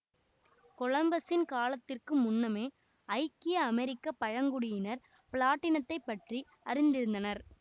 கொலம்பசின் காலத்திற்கு முன்னமே ஐக்கிய அமெரிக்க பழங்குடியினர் பிளாட்டினத்தைப் பற்றி அறிந்திருந்தனர்